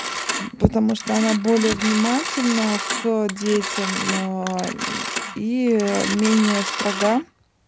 потому что она более внимательно к детям и менее строга